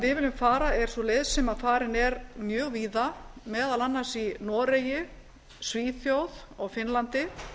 viljum fara er sú leið sem farin er mjög víða meðal annars í noregi svíþjóð og finnlandi